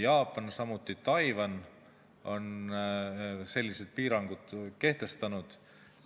Jaapan ja Taiwan on samuti sellised piirangud kehtestanud.